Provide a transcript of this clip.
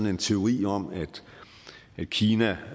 en teori om at kina